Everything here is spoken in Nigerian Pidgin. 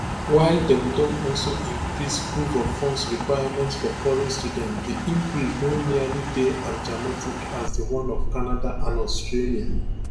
while dem don also increase proofoffunds requirements for foreign students di increase no nearly dey as dramatic as di one of canada and australia